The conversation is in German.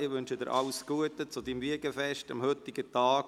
Ich wünsche Ihnen alles Gute zu Ihrem Wiegenfest am heutigen Tag!